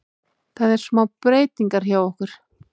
Það er smá breytingar hjá okkur.